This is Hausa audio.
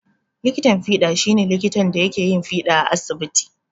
Likitan fiɗa shi ne likitan da yake yin fiɗa a asibiti.